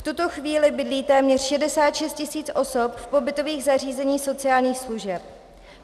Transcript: V tuto chvíli bydlí téměř 66 tis. osob v pobytových zařízeních sociálních služeb.